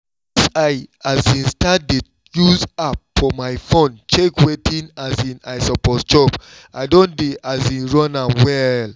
since i um start dey use app for my phone check wetin um i suppose chop i don dey um run am well